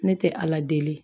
Ne tɛ ala deli